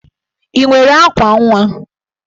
Ị nwere akwa nwa?